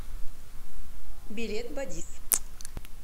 билет бадис